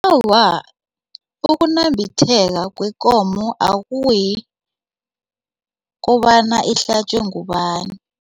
Awa, ukunambitheka kwekomo akuyi kobana ihlatjwe ngubani.